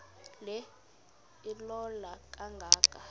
le ilola kangaka